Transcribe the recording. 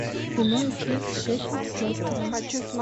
прямой эфир шеффилд с лестером